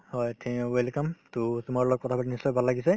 হয় welcome to তোমাৰ লগত কথা পাতি নিশ্চয় ভাল লাগিছে